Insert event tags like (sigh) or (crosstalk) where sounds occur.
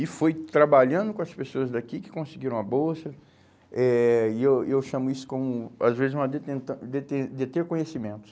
E foi trabalhando com as pessoas daqui que conseguiram a bolsa, eh e eu e eu chamo isso como, às vezes, uma deten, (unintelligible) deter, deter conhecimentos.